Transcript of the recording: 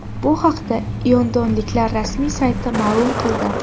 Bu haqda londonliklar rasmiy sayti ma’lum qildi .